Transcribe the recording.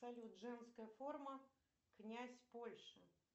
салют женская форма князь польши